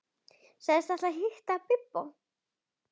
Sagðist ætla að hitta Bibba.